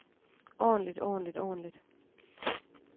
ordentligt ordentligt ordentligt